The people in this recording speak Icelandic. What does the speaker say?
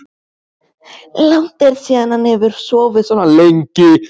Langt er síðan hann hefur sofið svona lengi.